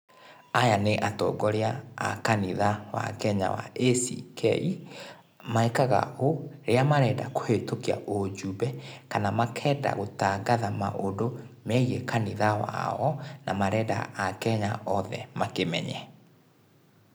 Aya nĩĩ atongoria a kanitha wa Kenya wa ACK. Mekaga ũũ rĩrĩa marenda kũhĩtũkia ũjumbe, kana makenda gũtangatha maũndũ megiĩ kanitha wao na marenda akenya othe makĩmenye.